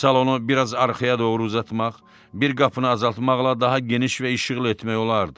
Salonu biraz arxaya doğru uzatmaq, bir qapını azaltmaqla daha geniş və işıqlı etmək olardı.